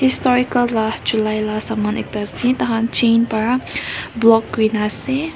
historical la chulai la saman ekta ase taikhan chain para block kurina ase.